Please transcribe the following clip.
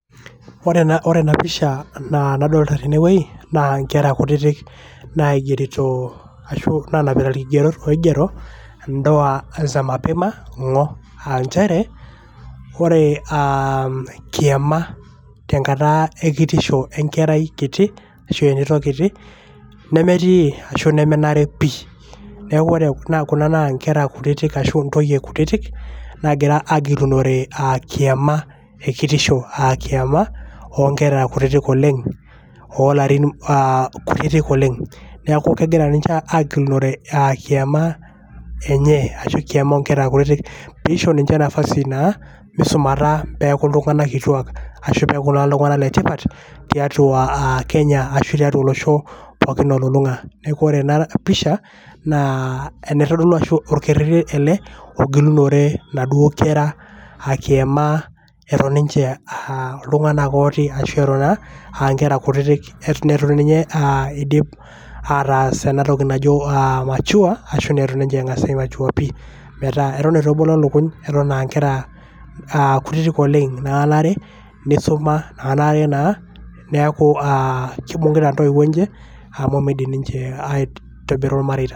Ore ena ore ena pisha nadolta tene wuei naa nkera kutitik naigerito ashu nanapita irkigerot oigero `ndoa za mapema ngo! aa nchere .ore aam kiama tenkata ekitisho enkarai kiti ashu entito kiti nemetii ashu nemenare pi.niaku ore kuna naa inkera kutitik ashu intoyie kutitik nagira agilunore a kiama ekitisho akiama onkera kutitik oleng olarin a kutitik oleng. niaku kegira ninche agilunore a kiama enye ashu kiama onkera kutitik pisho ninje nafasi naa misumata peaku iltunganak kituak ashu naa peaku iltunganak le tipat tiatua aa kenya ashu tiatua olosho pookin olulunga . ore ena pisha enaitodulu ashu orkerereti ele ogilunore naaduoo kera kiyama eton ninche a iltunganak ooti ashu eton aa nkera kutitik